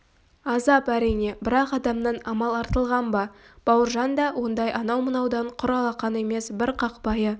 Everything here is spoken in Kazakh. азап әрине бірақ адамнан амал артылған ба бауыржан да ондай анау-мынаудан құр алақан емес бір қақпайы